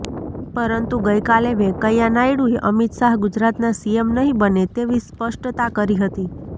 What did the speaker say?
પરંતુ ગઈ કાલે વેંકૈયા નાયડૂએ અમિત શાહ ગુજરાતના સીએમ નહીં બને તેવી સ્પષ્ટતા કરી હતી